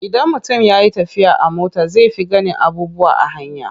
Idan mutum ya yi tafiya a mota zai fi ganin abubuwa a hanya.